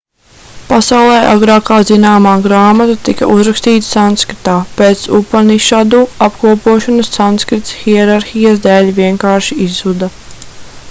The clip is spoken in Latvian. pasaulē agrākā zināmā grāmata tika uzrakstīta sanskritā pēc upanišadu apkopošanas sanskrits hierarhijas dēļ vienkārši izzuda